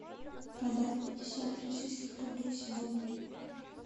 продать пятьдесят российских рублей сегодня